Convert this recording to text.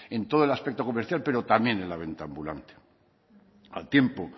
en todo el aspecto comercial pero también de la venta ambulante al tiempo